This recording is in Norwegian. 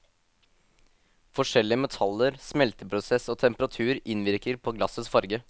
Forskjellige metaller, smelteprosess og temperatur innvirker på glassets farge.